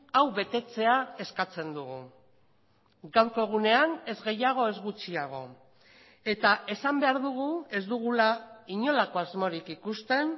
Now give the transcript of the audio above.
hau betetzea eskatzen dugu gaurko egunean ez gehiago ez gutxiago eta esan behar dugu ez dugula inolako asmorik ikusten